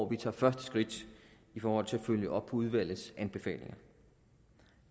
vi tager første skridt i forhold til at følge op på udvalgets anbefalinger